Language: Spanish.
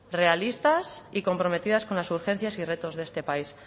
realistas y comprometidas con las urgencias y retos de este país